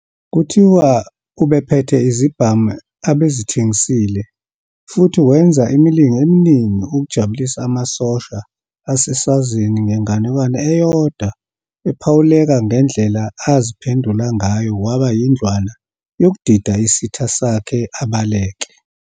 Kuthiwa ubephethe izibhamu abezithengisile, futhi wenza imilingo eminingi ukujabulisa amasosha aseSwazini ngenganekwane eyodwa ephawuleka ngendlela aziphendula ngayo waba yindlwana yokudida isitha sakhe abaleke.